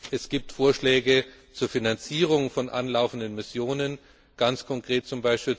Es gibt Vorschläge zur Finanzierung von anlaufenden Missionen, ganz konkret z.